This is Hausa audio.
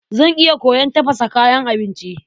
Zan iya koyon tafasa kayan abinci.